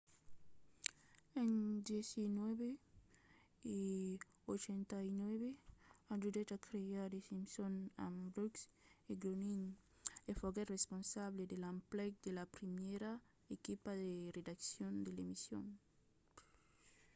en 1989 ajudèt a crear the simpsons amb brooks e groening e foguèt responsable de l'emplec de la primièra equipa de redaccion de l'emission